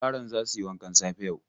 Yaran za su yi wankan safe yau.